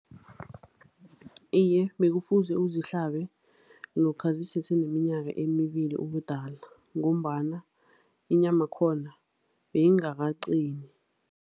Iye, bekufuze uzihlabe lokha ziseseneminyaka emibili ubudala ngombana inyamakhona beyingakaqini.